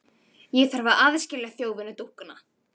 Ég þarf að aðskilja þjófinn og dúkkuna.